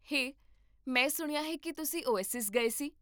ਹੇ, ਮੈਂ ਸੁਣਿਆ ਹੈ ਕਿ ਤੁਸੀਂ ਓਏਸਿਸ ਗਏ ਸੀ